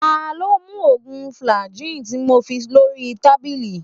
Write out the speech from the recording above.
ta lo mu oògùn fagly ti mo fi lori tabili?